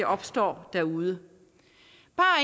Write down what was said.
opstår derude